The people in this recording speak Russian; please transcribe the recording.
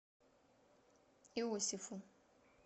иосифу